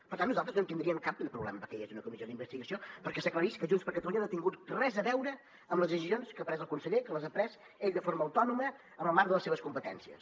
per tant nosaltres no en tindríem cap de problema perquè hi hagués una comissió d’investigació perquè s’aclarís que junts per catalunya no ha tingut res a veure amb les decisions que ha pres el conseller que les ha pres ell de forma autònoma en el marc de les seves competències